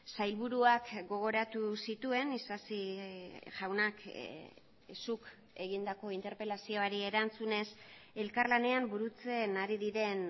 sailburuak gogoratu zituen isasi jaunak zuk egindako interpelazioari erantzunez elkarlanean burutzen ari diren